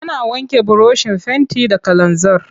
Ana wanke burushin fenti da kalanzir.